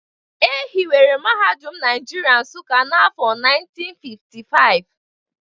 E hiwere Mahadum Naijiria Nsuka n’afọ 1955